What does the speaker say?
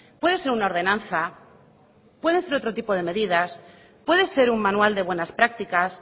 puede ser una ordenanza puede ser otro tipo de medidas puede ser un manual de buenas prácticas